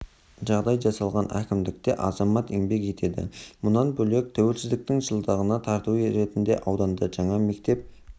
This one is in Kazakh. жағдай жасалған кімдікте азамат еңбек етеді мұнан бөлек туелсіздіктің жылдығына тарту ретінде ауданда жаңа мектеп